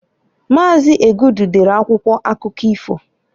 Maazi Egudu dere akwụkwọ akụkọ ifo.